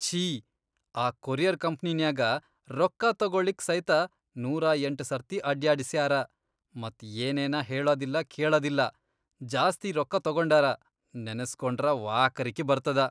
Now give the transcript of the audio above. ಛೀ, ಆ ಕೊರಿಯರ್ ಕಂಪ್ನಿನ್ಯಾಗ ರೊಕ್ಕಾ ತೊಗೊಳಿಕ್ ಸೈತ ನೂರಾಯಂಟ್ ಸರ್ತಿ ಅಡ್ಯಾಡಸ್ಯಾರ, ಮತ್ ಏನೇನ ಹೇಳದಿಲ್ಲಾ ಕೇಳದಿಲ್ಲಾ ಜಾಸ್ತಿ ರೊಕ್ಕಾ ತೊಗೊಂಡಾರ, ನೆನಸ್ಗೊಂಡ್ರ ವಾಕರಕಿ ಬರ್ತದ.